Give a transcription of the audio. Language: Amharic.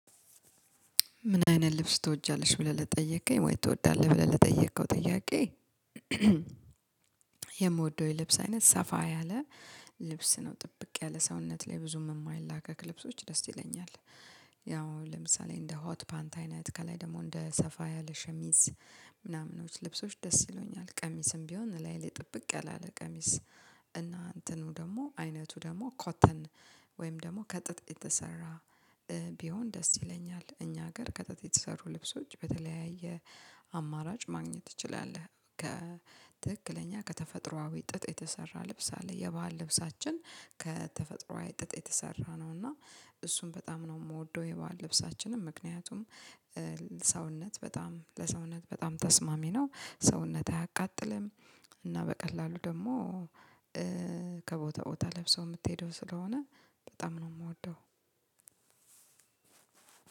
ምን አይነት ልብስ ትወጃለሽ ብለህ ለጠየቀኝ ወይ ትወዳለህ ብለህ ለጠየቀው ጥያቄ? የምወደው የልብስ አይነት ሰፋ ያለ ልብስ ነው ጥብቅ ያለ ሰውነት ላይ ብዙም የማይላቀቅ ልብሶች ደስ ይለኛል። ያው ለምሳሌ እንደ ሆት ፓንት አይነት ከላይ ደግሞ እንደ ሰፋ ያለ ሸሚዝ ምናምኖች ልብሶች ደስ ይሉኛል ቀሚስም ቢሆን እላዬ ላይ ጥብቅ ያለለ ቀሚስ እና እንትኑ ደግሞ አይነቱ ደግሞ ኮተን ወይም ደግሞ ከጥጥ የተሰራ ቢሆን ደስ ይለኛል። እኛ ሀገር ከጥጥ የተሰሩ ልብሶች በተለያየ አማራጭ ማግኘት ትችላለህ? ከትክክለኛ ከተፈጥሮአዊ ጥጥ የተሰራ ልብስ አለ የባህል ልብሳችን ከተፈጥሮአዊ ጥጥ የተሰራ ነው። እና እሱን በጣም ነው የምወደው የባህል ልብሳችንን ምክንያቱም ሰውነት በጣም ለሰውነት በጣም ተስማሚ ነው ሰውነት አያቃጥልም እና በቀላሉ ደግሞ ከቦታ ቦታ ለብሰሀው የምትሄደው ስለሆነ በጣም ነው የምወደው።